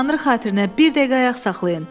Tanrı xatirinə bir dəqiqə ayaq saxlayın.